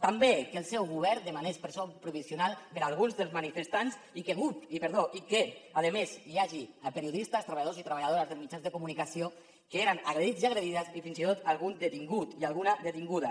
també que el seu govern demanés presó provisional per a alguns dels manifestants i que a més hi hagi periodistes treballadors i treballadores dels mitjans de comunicació que han estat agredits i agredides i fins i tot algun detingut i alguna detinguda